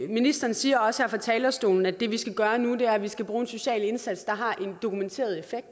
ministeren siger også fra talerstolen at det vi skal gøre nu er at vi skal bruge en social indsats der har en dokumenteret effekt